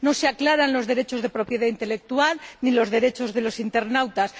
No se aclaran los derechos de propiedad intelectual ni los derechos de los internautas.